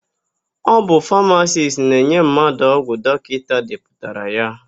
Ọ bụ famasisti na-enye mmadụ ọgwụ dọkịta depụtara ya.